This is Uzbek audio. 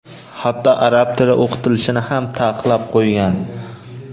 hatto arab tili o‘qitilishini ham taqiqlab qo‘ygan.